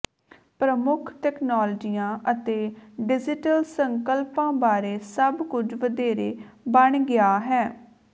ਪ੍ਰਮੁੱਖ ਤਕਨਾਲੋਜੀਆਂ ਅਤੇ ਡਿਜੀਟਲ ਸੰਕਲਪਾਂ ਬਾਰੇ ਸਭ ਕੁਝ ਵਧੇਰੇ ਬਣ ਗਿਆ ਹੈ